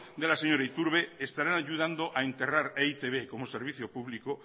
de la señora iturbe estarán ayudando a enterrar a e i te be como servicio público